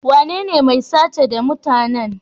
Wanene mai sace da mutane?